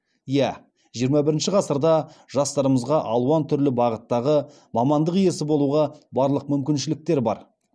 иә жиырма бірінші ғасырда жастарымызға алуан түрлі бағыттағы мамандық иесі болуға барлық мүмкіншіліктер бар